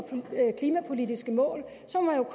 klimapolitiske mål må